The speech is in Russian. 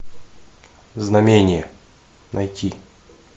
знамение найти